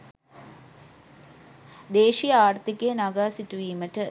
දේශීය ආර්ථිකය නගා සිටුවීමට